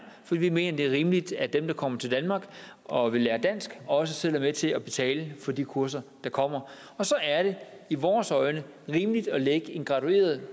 for vi mener at det er rimeligt at dem der kommer til danmark og vil lære dansk også selv er med til at betale for de kurser der kommer og så er det i vores øjne rimeligt at lægge en gradueret